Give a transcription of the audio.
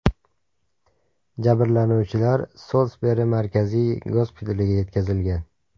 Jabrlanuvchilar Solsberi markaziy gospitaliga yetkazilgan.